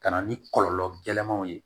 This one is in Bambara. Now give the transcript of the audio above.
Ka na ni kɔlɔlɔ gɛlɛnman ye